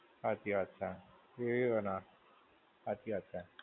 હાચી વાત છે, એ ના. હાચી વાત છે.